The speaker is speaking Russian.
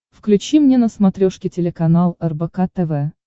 включи мне на смотрешке телеканал рбк тв